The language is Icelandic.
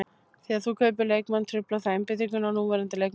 Þegar þú kaupir leikmann truflar það einbeitinguna á núverandi leikmönnum.